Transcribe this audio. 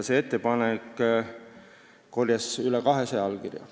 See ettepanek kogus üle 200 allkirja.